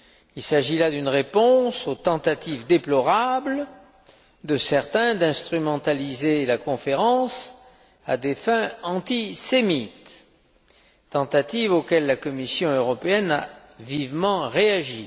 Il s'agit là d'une réponse aux tentatives déplorables de certains d'instrumentaliser la conférence à des fins antisémites, tentatives auxquelles la Commission européenne a vivement réagi.